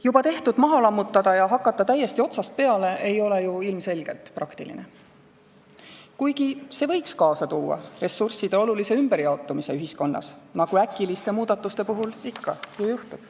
Juba tehtut maha lammutada ja täiesti otsast peale hakata ei ole ju ilmselgelt praktiline, kuigi see võiks kaasa tuua ressursside olulise ümberjaotumise ühiskonnas, nagu äkiliste muudatuste puhul ikka ju juhtub.